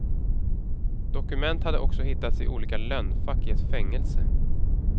Dokument hade också hittats i olika lönnfack i ett fängelse.